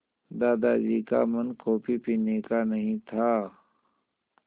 दादाजी का मन कॉफ़ी पीने का नहीं था